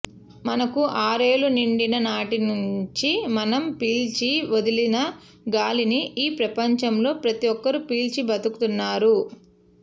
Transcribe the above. మనకు ఆరేళ్లు నిండిన నాటి నుంచి మనం పీల్చి వదిలిన గాలిని ఈ ప్రపంచంలో ప్రతి ఒక్కరు పీల్చి బతుకుతున్నరు